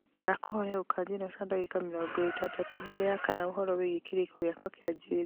ndakũhoya ũkanjĩra ta ndagika mĩrongo ĩtandatũ mbere ya kana ũhoro wĩgiĩ kĩrĩko gĩakwa kĩa njuĩrĩ